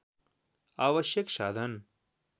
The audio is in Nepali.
आवश्यक साधन